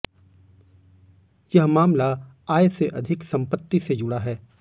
यह मामला आय से अधिक संपत्ति से जुड़़ा है